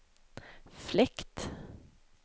fläkt